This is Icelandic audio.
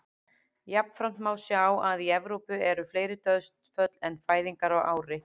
Jafnframt má sjá að í Evrópu eru fleiri dauðsföll en fæðingar á ári.